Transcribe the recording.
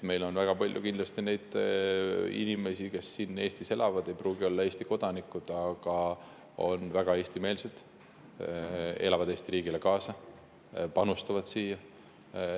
Meil on väga palju neid inimesi, kes elavad siin Eestis ja ei ole Eesti kodanikud, aga on väga Eesti-meelsed, elavad Eesti riigile kaasa, panustavad siia.